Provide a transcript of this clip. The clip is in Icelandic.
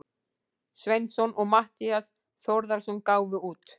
Sveinsson og Matthías Þórðarson gáfu út.